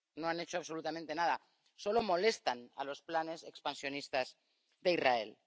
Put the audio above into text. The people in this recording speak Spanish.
No han hecho absolutamente nada, solo molestan a los planes expansionistas de Israel.